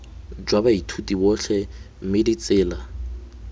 jwa baithuti botlhe mme ditsela